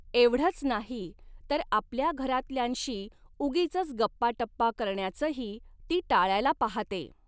एवढंच नाही, तर आपल्या घरातल्यांशी उगीचच गप्पाटप्पा करण्याचही ती टाळायला पाहाते.